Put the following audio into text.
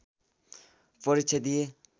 परीक्षा दिए